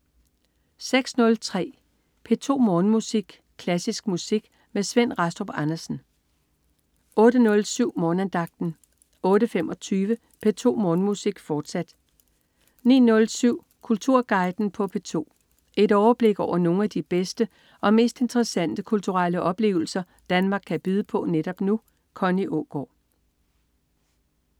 06.03 P2 Morgenmusik. Klassisk musik med Svend Rastrup Andersen 08.07 Morgenandagten 08.25 P2 Morgenmusik, fortsat 09.07 Kulturguiden på P2. Et overblik over nogle af de bedste og mest interessante kulturelle oplevelser Danmark kan byde på netop nu. Connie Aagaard